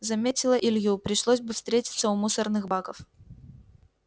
заметила илью пришлось бы встретиться у мусорных баков